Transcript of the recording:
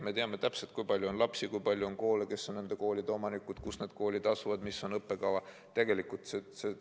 Me teame täpselt, kui palju on lapsi, kui palju on koole, kes on nende koolide omanikud, kus need koolid asuvad, milline on õppekava.